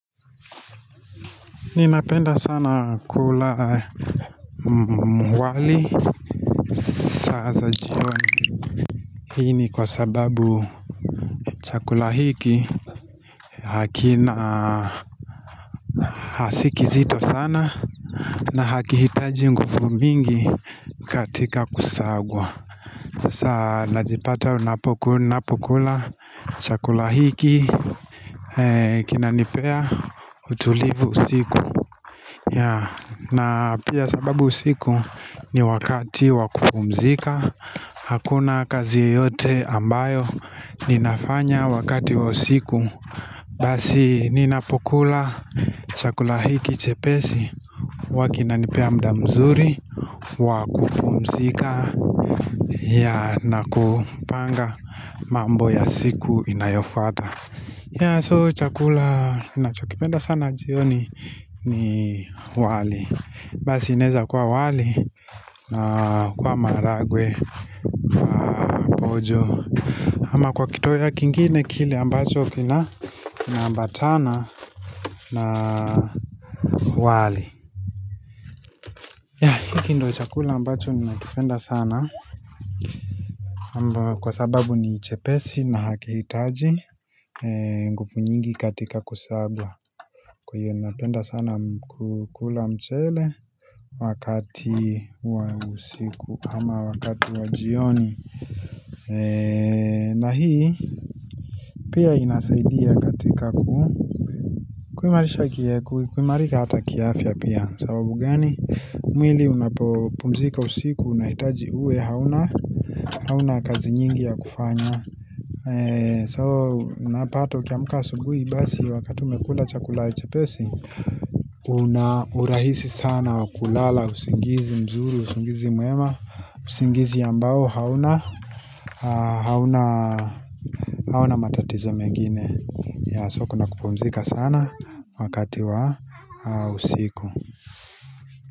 Ninapenda sana kula wali saa za jioni hii ni kwa sababu chakula hiki hakina si kizito sana na haki hitaji nguvu mingi katika kusagwa saa najipata unapokula ninapokula chakula hiki Kinanipea utulivu usiku. Ya na pia sababu usiku ni wakati wa kupumzika Hakuna kazi yoyote ambayo ninafanya wakati wa usiku Basi ninapokula chakula hiki chepesi huwa kinanipea mda mzuri wa kupumzika. Ya na kupanga mambo ya siku inayofuata. Ya so chakula ninachokipenda sana jioni ni wali. Basi inaeza kwa wali na kwa maharagwe, pojo ama kwa kitoweo kingine kile ambacho kina kinaambatana na wali. Ya hiki ndo chakula ambacho ninakipenda sana. Amba kwa sababu ni chepesi na hakihitaji nguvu nyingi katika kusagwa Kwa hiyo napenda sana kukula mchele Wakati wa usiku ama wakati wa jioni na hii pia inasaidia katika ku kuimarisha, kuimarika hata kiafya pia. Sababu gani? Mwili unapopumzika usiku, unahitaji uwe hauna, hauna kazi nyingi ya kufanya. So unapata ukiamka asubuhi basi Wakati umekula chakula chepesi Una urahisi sana wa kulala usingizi mzuri, usingizi mwema usingizi ambao hauna hauna matatizo mengine. So kuna kupumzika sana Wakati wa usiku.